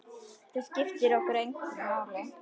Þetta skiptir okkur ekkert máli.